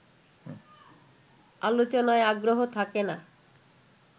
আলোচনায় আগ্রহ থাকে না